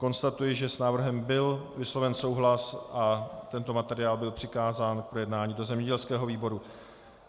Konstatuji, že s návrhem byl vysloven souhlas a tento materiál byl přikázán k projednání do zemědělského výboru.